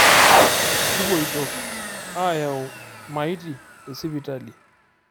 Kupoito aayau lmaiti tesipitali